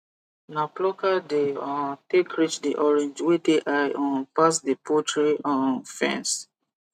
na plucker dem um take reach the orange wey dey high um pass the poultry um fence